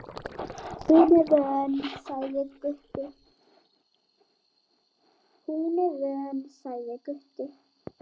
Hún er vön, sagði Gutti.